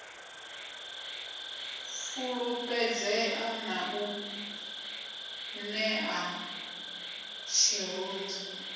fulufhedzea na u nṋea tshirunzi